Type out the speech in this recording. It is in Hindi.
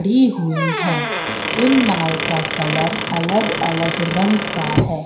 भी हुई है इन नाव का कलर अलग-अलग रंग का है।